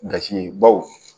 Gasi ye baw